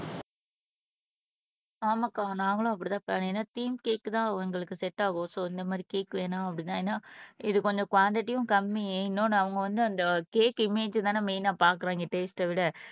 ஆமாக்கா நாங்களும் அப்படித்தான் பண்ணோம் ஏன்னா தீம் கேக்குதான் எங்களுக்கு செட் ஆகும் சோ இந்த மாதிரி கேக் வேணும் அப்படின்னா ஏன்னா இது கொஞ்சம் குவான்டிட்டியும் கம்மி இன்னொன்னு அவங்க வந்து அந்த கேக் இமேஜ் தானே மெயின்னா பாக்கறோம் இந்த டேஸ்ட்ஐ விட